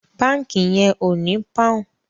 Bánkì yen o ní poun